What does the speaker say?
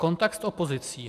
Kontakt s opozicí.